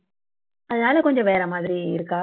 அதனால கொஞ்சம் வேற மாதிரி இருக்கா